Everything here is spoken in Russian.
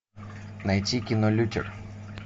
найти кино лютер